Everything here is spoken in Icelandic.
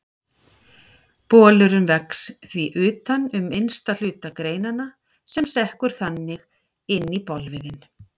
Bolurinn vex því utan um innsta hluta greinanna sem sekkur þannig inn í bolviðinn.